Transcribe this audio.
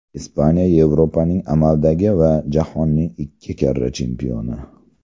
Ispaniya Yevropaning amaldagi va jahonning ikki karra chempioni.